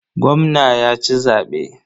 Gwamna ya ci zaɓe.